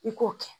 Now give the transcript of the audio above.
I k'o kɛ